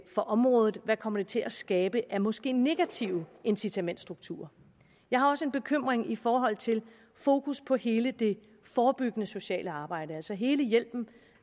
for området hvad det kommer til at skabe af måske negative incitamentsstrukturer jeg har også en bekymring i forhold til fokus på hele det forebyggende sociale arbejde altså hele hjælpen